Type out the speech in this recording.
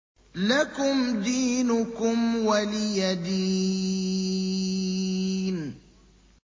لَكُمْ دِينُكُمْ وَلِيَ دِينِ